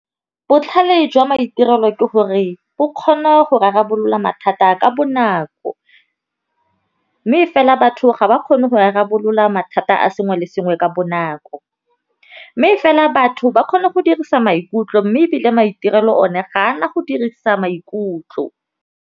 Botlhale jwa maitirelo ke gore bo kgona go rarabolola mathata ka bonako, mme fela batho ga ba kgone go rarabolola mathata a sengwe le sengwe ka bonako. Mme fela batho ba kgona go dirisa maikutlo mme ebile maitirelo one ga ana go dirisa maikutlo.